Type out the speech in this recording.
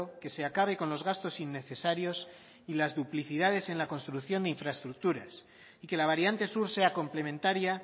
que se acabe con los gastos innecesarios y las duplicidades en la construcción de infraestructuras y que la variante sur sea complementaria